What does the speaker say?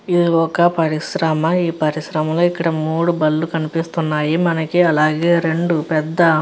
ఇది ఒక పరిశ్రమ ఈ పరిశ్రమ లో ఇక్కడ మూడు బండ్లు కనిపిస్తున్నాయి మనకి అలాగే రెండు పెద్ద --